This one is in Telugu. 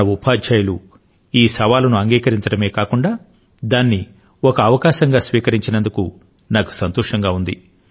మన ఉపాధ్యాయులు ఈ సవాలు ను అంగీకరించడమే కాకుండా దానిని ఒక అవకాశంగా స్వీకరించినందుకు నాకు సంతోషం గా ఉంది